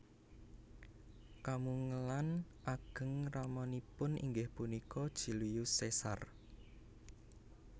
Kamungelan ageng ramanipun inggih punika Julius Caesar